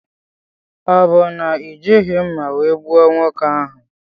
Ọ bụ na ijighi mma wee gbuo nwoke ahụ?